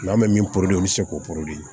N'an bɛ min o bɛ se k'o